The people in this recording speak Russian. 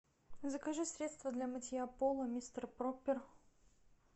закажи средство для мытья пола мистер пропер